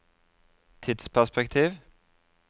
tidsperspektiv